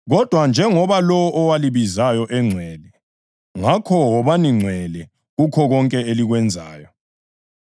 Kodwa njengoba lowo owalibizayo engcwele, ngakho wobani ngcwele kukho konke elikwenzayo;